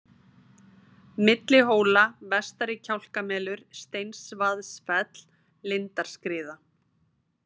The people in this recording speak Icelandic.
Milli-hóla, Vestari-Kjálkamelur, Steinsvaðsfell, Lindarskriða